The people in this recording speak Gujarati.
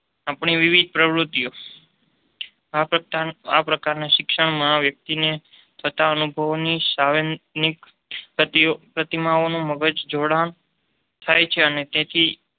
આપણી વિવિધ પ્રવૃત્તિઓ. આ પ્રકારના શિક્ષણમાં વ્યક્તિને થતા અનુભવોની સાવર્ણીક પ્રતિમાઓનું મગજ જોડાણ થાય છે અને તેથી